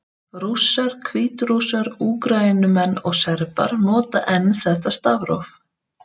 Rússar, Hvítrússar, Úkraínumenn og Serbar nota enn þetta stafróf.